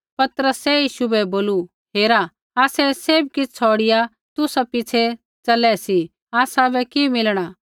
पतरसै यीशु बै बोलू हेरा आसै सैभ किछ़ छ़ौड़िआ तुसा पिछ़ै च़लै सी आसाबै कि मिलणा